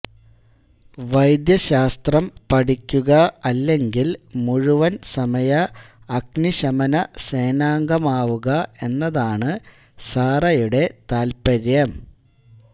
വൈദ്യശാസ്ത്രം പഠിക്കുക അല്ലെങ്കിൽ മുഴുവൻ സമയ അഗ്നിശമനസേനാംഗമാകുക എന്നതാണ് സാറയുടെ താല്പര്യം